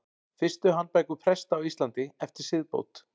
Fyrstu handbækur presta á Íslandi eftir siðbót.